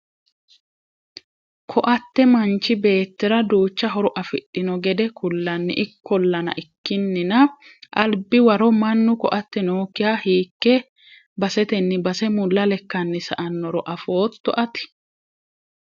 koatte manchi beettira duucha horo afidhino gede kullani, ikkolla ikkinina albi waro mannu koatte nookkiha hiikke basetenni base mulla lekkanni sa''annoro afootto ati?